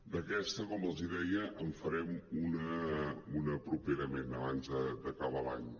d’aquesta com els deia en farem una properament abans d’acabar l’any